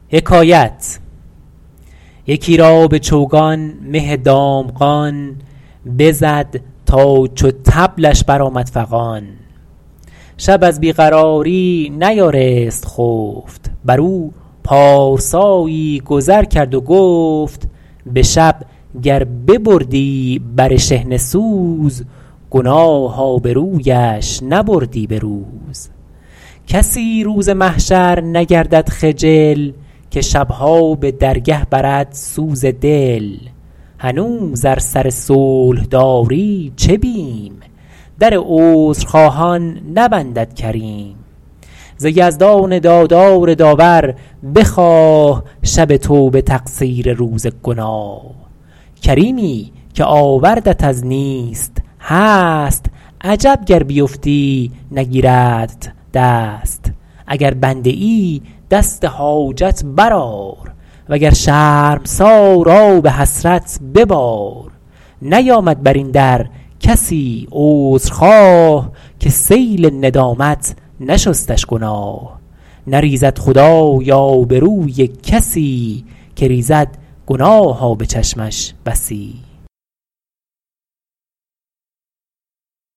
یکی را به چوگان مه دامغان بزد تا چو طبلش بر آمد فغان شب از بی قراری نیارست خفت بر او پارسایی گذر کرد و گفت به شب گر ببردی بر شحنه سوز گناه آبرویش نبردی به روز کسی روز محشر نگردد خجل که شبها به درگه برد سوز دل هنوز ار سر صلح داری چه بیم در عذرخواهان نبندد کریم ز یزدان دادار داور بخواه شب توبه تقصیر روز گناه کریمی که آوردت از نیست هست عجب گر بیفتی نگیردت دست اگر بنده ای دست حاجت بر آر و گر شرمسار آب حسرت ببار نیامد بر این در کسی عذر خواه که سیل ندامت نشستش گناه نریزد خدای آبروی کسی که ریزد گناه آب چشمش بسی